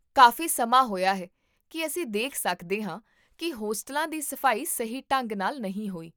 ਕਾਫੀ ਸਮਾਂ ਹੋਇਆ ਹੈ ਕੀ ਅਸੀਂ ਦੇਖ ਸਕਦੇ ਹਾਂ ਕੀ ਹੋਸਟਲਾਂ ਦੀ ਸਫ਼ਾਈ ਸਹੀ ਢੰਗ ਨਾਲ ਨਹੀਂ ਹੋਈ